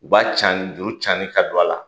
U b'a cani juru cani ka don a la.